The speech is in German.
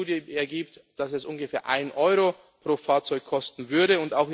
viel. Die Studie zeigt, dass es ungefähr einen Euro pro Fahrzeug kosten